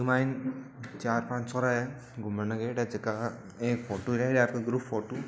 इके मायने चार-पाँच छोरा है घूमण ने गयेडा है जका का एक फोटो ले रिया है ग्रुप फोटू ।